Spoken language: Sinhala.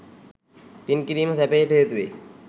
පින් කිරීම සැපයට හේතු වේ